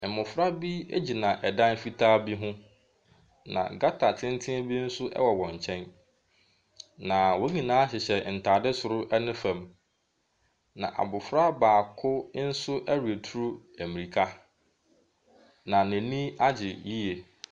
Mmɔfra bi gyina dan fitaa bi ho, na gutter tenten bi nso wɔ wɔn nkyɛn. Na wɔn nyinaa hyehyɛ ntadeɛ soro ne fam. Na abɔfra baako nso retu mmirika. Na n'ani agye yie.